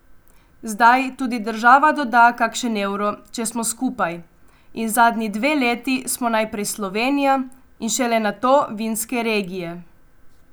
Zdaj tudi država doda kakšen evro, če smo skupaj, in zadnji dve leti smo najprej Slovenija in šele nato vinske regije.